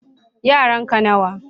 yaran ka nawa